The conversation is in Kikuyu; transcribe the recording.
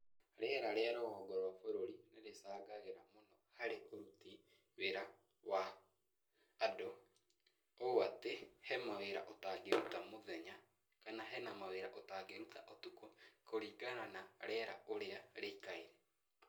Rĩera rĩa rũgongo wa bũrũri nĩrĩcangagĩra mũno harĩ ũruti wĩra wa andũ, ũũ atĩ, he mawĩra ũtangĩruta mũthenya, kana hena mawĩra ũtangĩruta ũtukũ kũringana na rĩera ũrĩa rĩikaire.